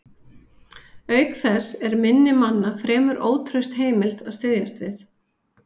Auk þess er minni manna fremur ótraust heimild að styðjast við.